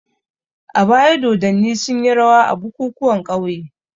A baya dodanni sunyi rawa a bukukuwan ƙauye.